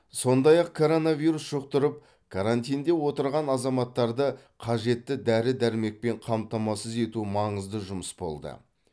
сондай ақ коронавирус жұқтырып карантинде отырған азаматтарды қажетті дәрі дәрмекпен қамтамасыз ету маңызды жұмыс болды